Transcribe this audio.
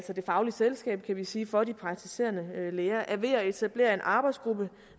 det faglige selskab kan vi sige for de praktiserende læger er ved at etablere en arbejdsgruppe